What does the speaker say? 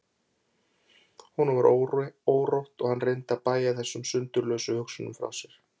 Honum varð órótt og hann reyndi að bægja þessum sundurlausu hugsunum frá sér.